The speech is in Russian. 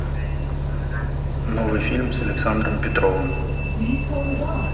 новый фильм с александром петровым